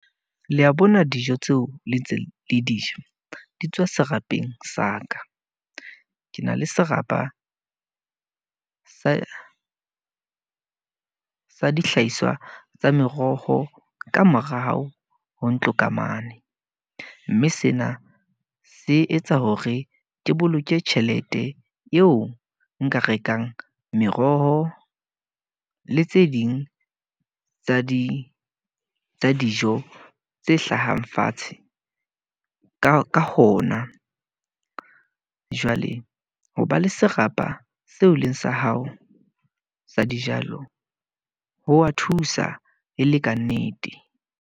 Le a bona dijo tseo le ntse le di ja, di tswa serapeng sa ka. Ke na le serapa sa sa dihlahiswa tsa meroho ka morao ho ntlo ka mane. Mme sena se etsa hore ke boloke tjhelete eo nka rekang meroho le tse ding tsa di dijo tse hlahang fatshe ka hona. Jwale ho ba le serapa seo leng sa hao sa dijalo, ho wa thusa e le ka nnete.